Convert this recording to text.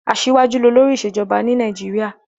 Aṣíwájú ni olórí ìṣèjọba ní Nàìjíríà.